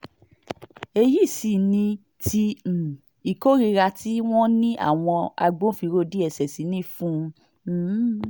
èyí sì ni ti um ìkórìíra tí wọ́n ní àwọn agbófinró dss ní fún un um